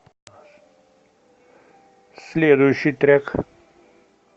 следующий трек